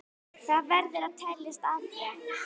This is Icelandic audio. Það verður að teljast afrek.